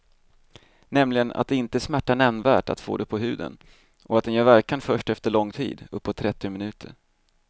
Nämligen att det inte smärtar nämnvärt att få den på huden och att den gör verkan först efter lång tid, uppåt trettio minuter.